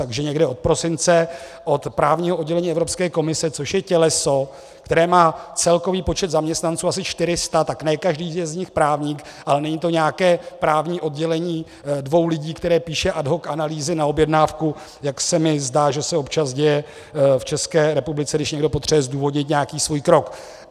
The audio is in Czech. Takže někde od prosince od právního oddělení Evropské komise, což je těleso, které má celkový počet zaměstnanců asi 400, tak ne každý je z nich právník, ale není to nějaké právní oddělení dvou lidí, které píše ad hoc analýzy na objednávku, jak se mi zdá, že se občas děje v České republice, když někdo potřebuje zdůvodnit nějaký svůj krok.